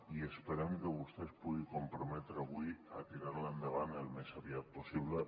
i esperem que vostè es pugui comprometre avui a tirar la endavant al més aviat possible